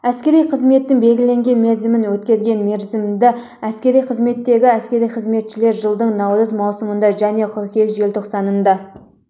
әскери қызметтің белгіленген мерзімін өткерген мерзімді әскери қызметтегі әскери қызметшілер жылдың наурыз маусымында және қыркүйек желтоқсанында